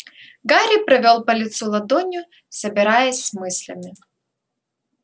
гарри провёл по лицу ладонью собираясь с мыслями